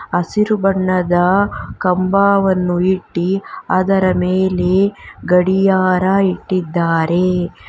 ಹಸಿರು ಬಣ್ಣದ ಕಂಬವನ್ನು ಇಟ್ಟಿ ಅದರ ಮೇಲೆ ಗಡಿಯಾರ ಇಟ್ಟಿದ್ದಾರೆ.